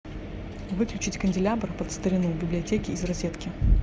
выключить канделябр под старину в библиотеке из розетки